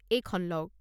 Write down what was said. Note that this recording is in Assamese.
এইখন লওক।